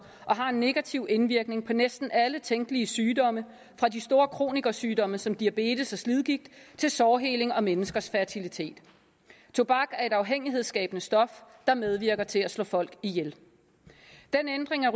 og har en negativ indvirkning på næsten alle tænkelige sygdomme fra de store kroniske sygdomme som diabetes og slidgigt til sårheling og menneskers fertilitet tobak er et afhængighedsskabende stof der medvirker til at slå folk ihjel den ændring af